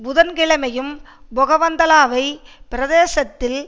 புதன் கிழமையும் பொகவந்தலாவை பிரதேசத்தில்